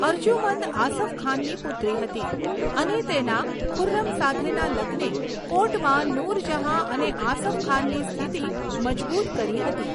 અર્જુમંદ આસફ ખાનની પુત્રી હતી અને તેના ખુર્રમ સાથેના લગ્ને કોર્ટમાં નૂરજહાં અને આસફ ખાનની સ્થિતિ મજબૂત કરી હતી.